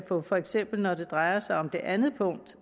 for for eksempel når det drejer sig om det andet punkt